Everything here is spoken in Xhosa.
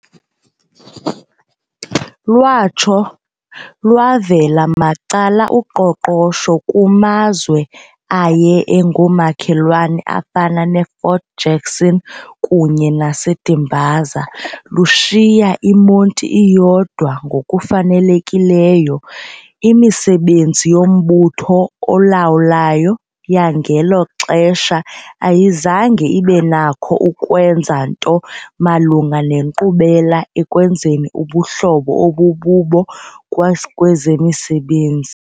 Lwatsho lwavela macala uqoqosho kumazwe aye engomakhelwane afana neFort Jackson kunye naseDimbaza, lushiya iMonti iyodwa ngokufanelekileyo. Imisebenzi yombutho olwel yangelo xesha ayizange ibenakho ukwenza nto malunga nenkqubela ekwenzeni ubuhlobo obububo kwezemesebenzi.